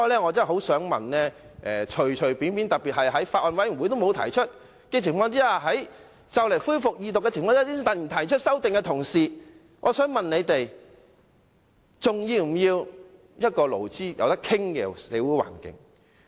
我想問在法案委員會沒有提出修正案，在《條例草案》即將恢復二讀之際才突然提出修正案的同事，還要不要一個勞資可以協商的社會環境？